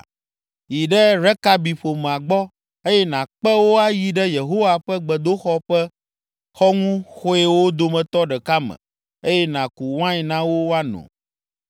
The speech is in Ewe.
“Yi ɖe Rekabi ƒomea gbɔ, eye nàkpe wo ayi ɖe Yehowa ƒe gbedoxɔ ƒe xɔŋuxɔewo dometɔ ɖeka me eye nàku wain na wo woano.”